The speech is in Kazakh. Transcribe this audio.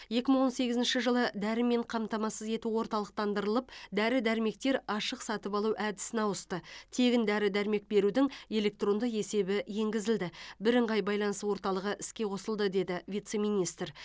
екі мың он сегізінші жылы дәрімен қамтамасыз ету орталықтандырылып дәрі дәрмектер ашық сатып алу әдісіне ауысты тегін дәрі дәрмек берудің электронды есебі енгізілді бірыңғай байланыс орталығы іске қосылды деді вице министр